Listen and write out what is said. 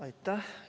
Aitäh!